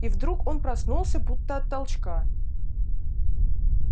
и вдруг он проснулся будто от толчка